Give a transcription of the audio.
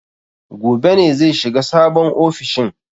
Gobe ne zai shiga sabon ofishin.